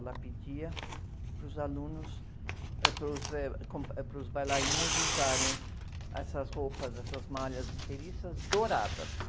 Ela pedia para os alunos, eh, para os, eh, com, para os bailarinos usarem essas roupas, essas malhas inteiriças douradas.